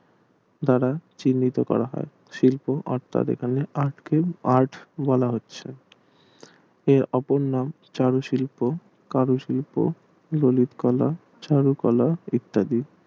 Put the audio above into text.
দ্বারা চিন্তিত করা হয় শিল্প অর্থাৎ এখানে art বলা হচ্ছে এর অপর নাম চারু শিল্প কারু শিল্প বরুট কলা চারু কলা ইত্যাদি